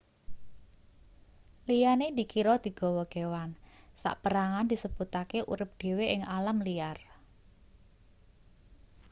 liyane dikira digawa kewan saperangan disebutake urip dhewe ing alam liar